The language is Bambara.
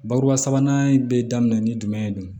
Bakuruba sabanan bɛ daminɛ ni jumɛn ye